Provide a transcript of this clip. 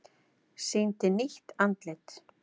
Sýndi nýtt andlit